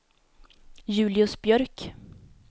Julius Björk